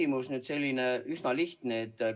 Mul on selline üsna lihtne küsimus.